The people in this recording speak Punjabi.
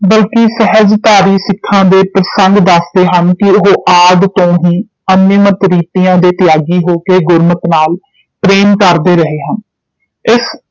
ਬਲਕਿ ਸਹਿਜਧਾਰੀ ਸਿੱਖਾਂ ਦੇ ਪ੍ਰਸੰਗ ਦੱਸਦੇ ਹਨ ਕਿ ਉਹ ਆਦਿ ਤੋਂ ਹੀ ਅੰਤਮਤ ਰੀਤੀਆਂ ਦੇ ਤਿਆਗੀ ਹੋ ਕੇ ਗੁਰਮਤ ਨਾਲ ਪ੍ਰੇਮ ਕਰਦੇ ਰਹੇ ਹਨ ਇਸ